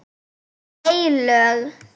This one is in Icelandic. Hún er heilög.